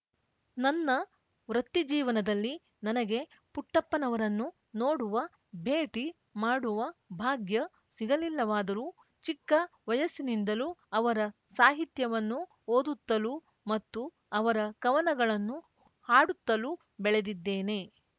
ನನ್ನ ವೃತ್ತಿಜೀವನದಲ್ಲಿ ನನಗೆ ಪುಟ್ಟಪ್ಪನವರನ್ನು ನೋಡುವ ಭೇಟಿ ಮಾಡುವ ಭಾಗ್ಯ ಸಿಗಲಿಲ್ಲವಾದರೂ ಚಿಕ್ಕ ವಯಸ್ಸಿನಿಂದಲೂ ಅವರ ಸಾಹಿತ್ಯವನ್ನು ಓದುತ್ತಲೂ ಮತ್ತು ಅವರ ಕವನಗಳನ್ನು ಹಾಡುತ್ತಲೂ ಬೆಳೆದಿದ್ದೇನೆ